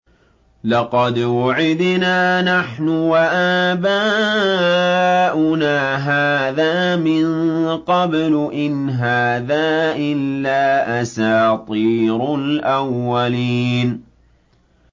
لَقَدْ وُعِدْنَا نَحْنُ وَآبَاؤُنَا هَٰذَا مِن قَبْلُ إِنْ هَٰذَا إِلَّا أَسَاطِيرُ الْأَوَّلِينَ